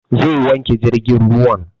Zai wanke jirgin ruwan